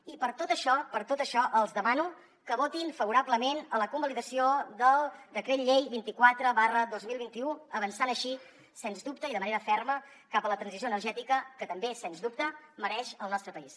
i per tot això per tot això els demano que votin favorablement la convalidació del decret llei vint quatre dos mil vint u avançant així sens dubte i de manera ferma cap a la transició energètica que també sens dubte mereix el nostre país